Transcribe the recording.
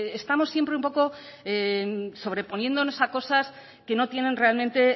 estamos siempre un poco sobreponiéndonos a cosas que no tienen realmente